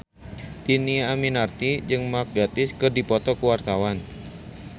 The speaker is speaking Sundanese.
Dhini Aminarti jeung Mark Gatiss keur dipoto ku wartawan